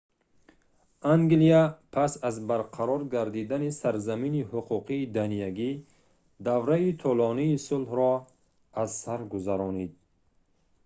англия пас аз барқарор гардидани сарзамини ҳуқуқи даниягӣ давраи тӯлонии сулҳро аз сар гузаронид